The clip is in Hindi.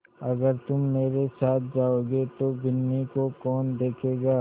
अगर तुम मेरे साथ जाओगे तो बिन्नी को कौन देखेगा